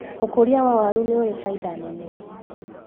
ũkũria wa waru nĩũrĩ bainda nene.